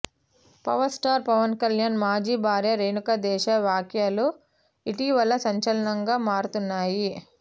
power star Pawan Kalyan మాజీ భార్య రేణుదేశాయ్ వ్యాఖ్యలు ఇటీవల సంచలనంగా మారుతున్నాయి